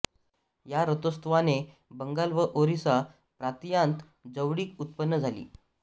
या रथोत्सवाने बंगाल व ओरिसा प्रांतीयांत जवळीक उत्पन्न झाली